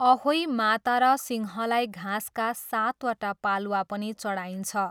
अहोई माता र सिंहलाई घाँसका सातवटा पालुवा पनि चढाइन्छ।